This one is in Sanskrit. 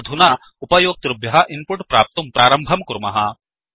अधुना उपयोक्तृभ्यः इन्पुट् प्राप्तुं प्रारम्भं कुर्मः